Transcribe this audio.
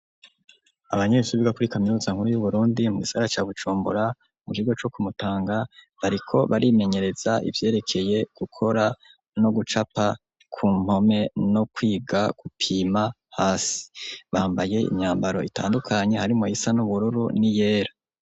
Abanyeshuri bo kuri kaminuza nkuru yu Burundi mugisagara ca Bujumbura mu kigo co ku Mutanga, bariko barimenyereza ivyerekeye no gucapa ku mpome kwiga no gupima hasi, bambaye imyambaro itandukanye harimwo iyisa n'ubururu n'iyera.